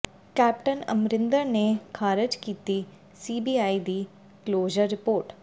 captain Amarinder ਨੇ ਖ਼ਾਰਜ ਕੀਤੀ ਸੀਬੀਆਈ ਦੀ ਕਲੋਜ਼ਰ ਰਿਪੋਰਟ